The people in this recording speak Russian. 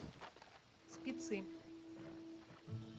спецы